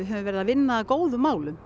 höfum verið að vinna að góðum málum